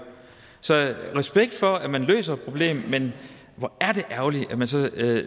så jeg har respekt for at man løser et problem men hvor er det ærgerligt at man så